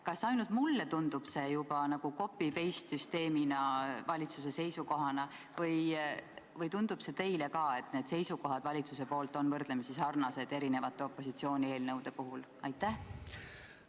Kas ainult mulle tundub see nagu copy-paste süsteemina valitsuse seisukohana või tundub teile ka, et valitsuse seisukohad on erinevate opositsiooni eelnõude puhul võrdlemisi sarnased?